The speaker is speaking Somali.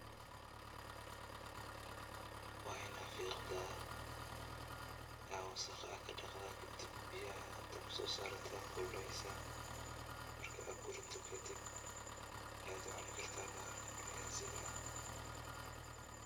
Waa inaan fiiqdaa aa wasaq aa dhaqdaa kadib biyaha dabka so sarada kululeysa marka aa kuridee kadib ayad cunii karta bahalkan viaziga aah.